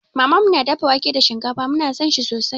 Mamanmu na dafa wake da shinkafa, mu na san shi sosai.